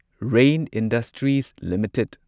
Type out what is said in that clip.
rain industries limited